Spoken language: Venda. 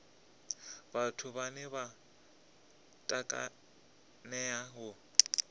vhathu vhane vha takalea u